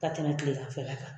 Ka tɛmɛ tileganfɛla kan.